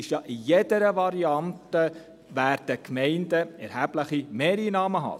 In jeder Variante werden die Gemeinden ja erhebliche Mehreinnahmen haben.